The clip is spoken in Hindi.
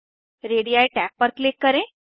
रेडी टैब पर क्लिक करें